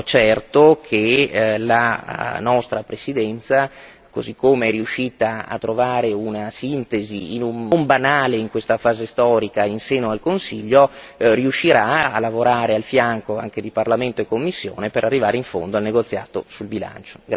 certo che la nostra Presidenza, così come è riuscita a trovare una sintesi, non banale in questa fase storica, in seno al Consiglio, riuscirà a lavorare al fianco anche di Parlamento e Commissione per arrivare in fondo al negoziato sul bilancio.